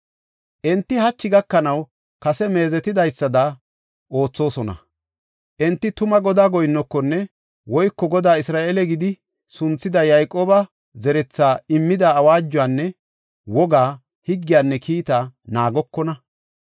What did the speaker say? Enti hachi gakanaw kase meezetidaysada oothosona. Enti tuma Godaa goyinnokona woyko Goday Isra7eele gidi sunthida Yayqooba zerethaas immida awaajuwanne wogaa, higgiyanne kiitaa naagokona.